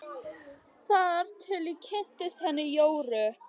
Þar til ég kynntist henni Jóru.